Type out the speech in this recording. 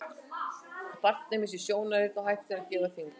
Barnið missir sjón og heyrn og hættir að geta kyngt.